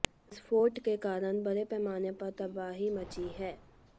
विस्फोट के कारण बड़े पैमाने पर तबाही मची है